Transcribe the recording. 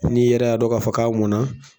N'i yɛrɛ y'a dɔn k'a fɔ k'a mɔn na